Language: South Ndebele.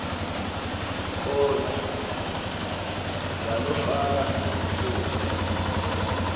khona yanofana ngimuphi